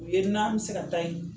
U ye n'an bɛ se ka taa yen.